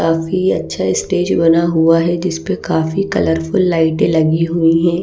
काफी अच्छा स्टेज बना हुआ है जिस पे काफी कलरफुल लाइट लगी हुई हैं।